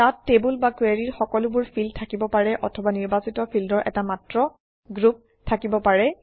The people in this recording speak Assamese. তাত টেবুল বা কুৱেৰিৰ সকলোবোৰ ফিল্ড থাকিব পাৰে অথবা নিৰ্বাচিত ফিল্ডৰ এটা মাত্ৰ গ্ৰুপ থাকিব পাৰে